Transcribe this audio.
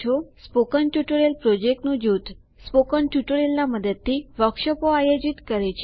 spoken tutorial પ્રોજેક્ટનું જૂથ spoken ટ્યુટોરિયલના મદદથી વર્કશોપો આયોજિત કરે છે